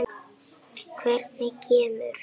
Hvernig kemur